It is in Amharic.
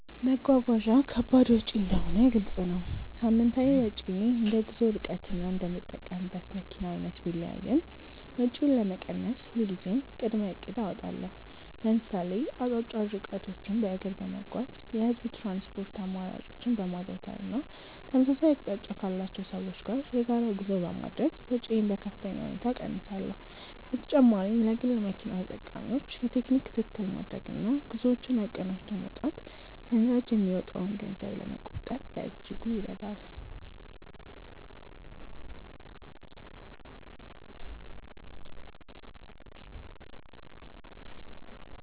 መጓጓዣ ከባድ ወጪ እንደሆነ ግልጽ ነው። ሳምንታዊ ወጪዬ እንደ ጉዞው ርቀትና እንደምጠቀምበት መኪና አይነት ቢለያይም፣ ወጪውን ለመቀነስ ሁልጊዜም ቅድመ እቅድ አወጣለሁ። ለምሳሌ አጫጭር ርቀቶችን በእግር በመጓዝ፣ የህዝብ ትራንስፖርት አማራጮችን በማዘውተር እና ተመሳሳይ አቅጣጫ ካላቸው ሰዎች ጋር የጋራ ጉዞ በማድረግ ወጪዬን በከፍተኛ ሁኔታ እቀንሳለሁ። በተጨማሪም ለግል መኪና ተጠቃሚዎች የቴክኒክ ክትትል ማድረግና ጉዞዎችን አቀናጅቶ መውጣት ለነዳጅ የሚወጣን ገንዘብ ለመቆጠብ በእጅጉ ይረዳል።